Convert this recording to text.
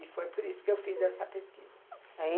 E foi por isso que eu fiz essa pesquisa.